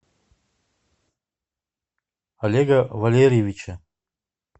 олега валерьевича